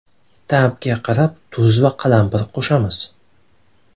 Ta’bga qarab tuz va qalampir qo‘shamiz.